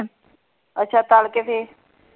ਅੱਛਾ ਤਲ ਕੇ ਫੇਰ।